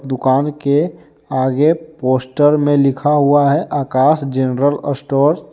दुकान के आगे पोस्टर में लिखा हुआ है आकाश जनरल स्टोर ।